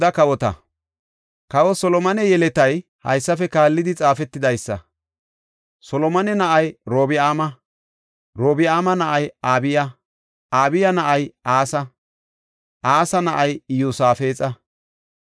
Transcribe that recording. Kawa Solomone yeletay haysafe kaallidi xaafetidaysa. Solomone na7ay Orobi7aama; Orobi7aama na7ay Abiya; Abiya na7ay Asa; Asa na7ay Iyosaafexa;